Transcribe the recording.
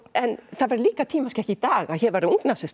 en það væri líka tímaskekkja í dag að hér væru